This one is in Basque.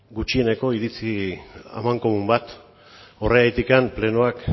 gutxieneko iritzi amankomun bat horregatik plenoak